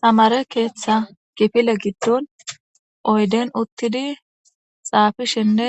tamare keeththa gifile giddon oyden uttidi xaafishenne